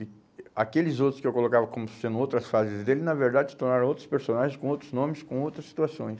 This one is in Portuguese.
E aqueles outros que eu colocava como sendo outras fases dele, na verdade, se tornaram outros personagens com outros nomes, com outras situações.